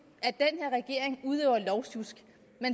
at udøver lovsjusk